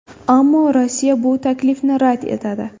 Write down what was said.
Ammo Rossiya bu taklifni rad etadi.